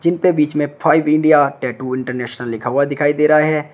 इनपे बीच में फाइव इंडिया टैटू इंटरनेशनल लिखा हुआ दिखाई दे रहा है।